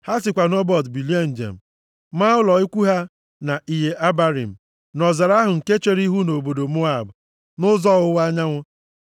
Ha sikwa nʼObot bilie njem, maa ụlọ ikwu ha na Iye Abarim, nʼọzara ahụ nke chere ihu nʼobodo Moab, nʼụzọ ọwụwa anyanwụ.